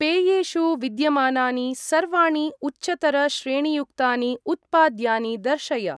पेयेषु विद्यमानानि सर्वाणि उच्चतर श्रेणीयुक्तानि उत्पाद्यानि दर्शय।